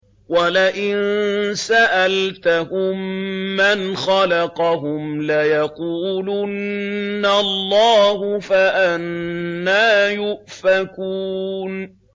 وَلَئِن سَأَلْتَهُم مَّنْ خَلَقَهُمْ لَيَقُولُنَّ اللَّهُ ۖ فَأَنَّىٰ يُؤْفَكُونَ